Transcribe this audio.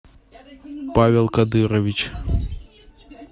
павел кадырович